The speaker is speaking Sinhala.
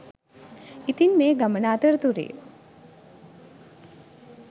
ඉතින් මේ ගමන අතරතුරෙ